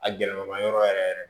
A gɛlɛma yɔrɔ yɛrɛ yɛrɛ